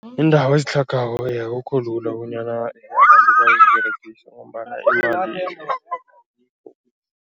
Iindawo ezitlhagako akukho lula bonyana abantu baziberegise ngombana imali